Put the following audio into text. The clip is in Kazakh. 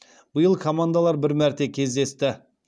биыл командалар бір мәрте кездесті